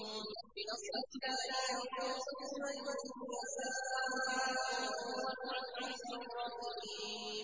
بِنَصْرِ اللَّهِ ۚ يَنصُرُ مَن يَشَاءُ ۖ وَهُوَ الْعَزِيزُ الرَّحِيمُ